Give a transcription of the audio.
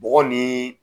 Bɔgɔ ni